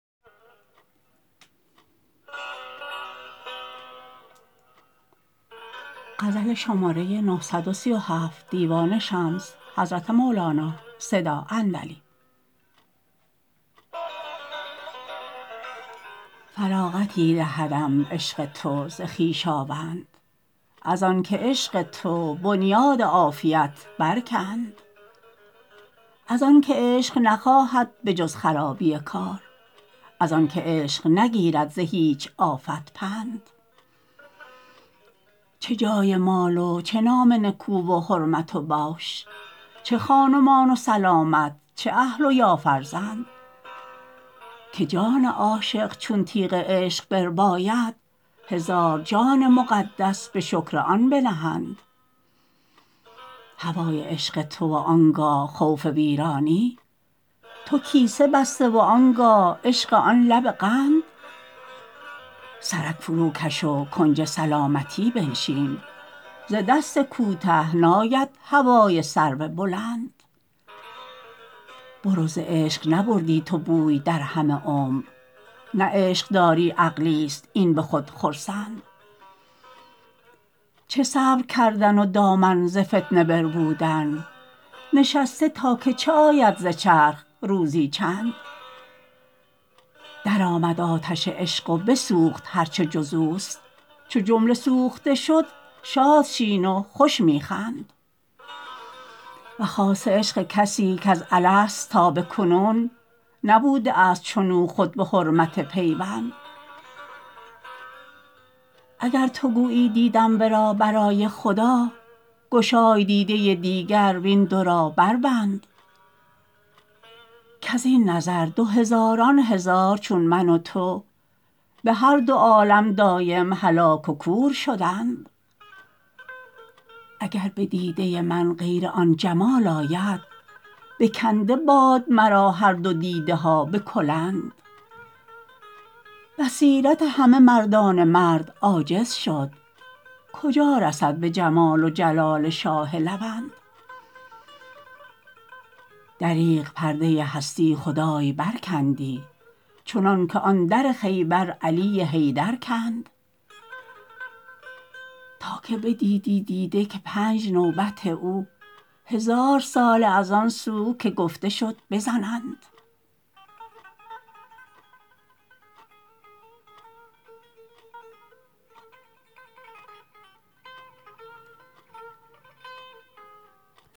فراغتی دهدم عشق تو ز خویشاوند از آنک عشق تو بنیاد عافیت برکند از آنک عشق نخواهد به جز خرابی کار از آنک عشق نگیرد ز هیچ آفت پند چه جای مال و چه نام نکو و حرمت و بوش چه خان و مان و سلامت چه اهل و یا فرزند که جان عاشق چون تیغ عشق برباید هزار جان مقدس به شکر آن بنهند هوای عشق تو و آن گاه خوف ویرانی تو کیسه بسته و آن گاه عشق آن لب قند سرک فروکش و کنج سلامتی بنشین ز دست کوته ناید هوای سرو بلند برو ز عشق نبردی تو بوی در همه عمر نه عشق داری عقلیست این به خود خرسند چه صبر کردن و دامن ز فتنه بربودن نشسته تا که چه آید ز چرخ روزی چند درآمد آتش عشق و بسوخت هر چه جز اوست چو جمله سوخته شد شاد شین و خوش می خند و خاصه عشق کسی کز الست تا به کنون نبوده است چنو خود به حرمت پیوند اگر تو گویی دیدم ورا برای خدا گشای دیده دیگر و این دو را بربند کز این نظر دو هزاران هزار چون من و تو به هر دو عالم دایم هلاک و کور شدند اگر به دیده من غیر آن جمال آید بکنده باد مرا هر دو دیده ها به کلند بصیرت همه مردان مرد عاجز شد کجا رسد به جمال و جلال شاه لوند دریغ پرده هستی خدای برکندی چنانک آن در خیبر علی حیدر کند که تا بدیدی دیده که پنج نوبت او هزار ساله از آن سو که گفته شد بزنند